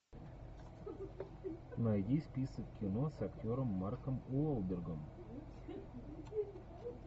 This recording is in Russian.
найди список кино с актером марком уолбергом